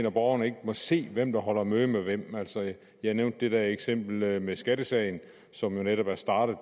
og borgerne ikke må se hvem der holder møde med hvem altså jeg nævnte det der eksempel med skattesagen som jo netop er startet